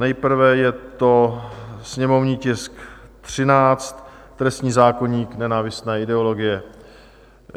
Nejprve je to sněmovní tisk 13, trestní zákoník, nenávistné ideologie.